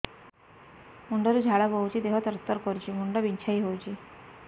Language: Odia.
ମୁଣ୍ଡ ରୁ ଝାଳ ବହୁଛି ଦେହ ତର ତର କରୁଛି ମୁଣ୍ଡ ବିଞ୍ଛାଇ ହଉଛି